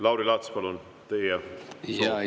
Lauri Laats, palun, teie soov!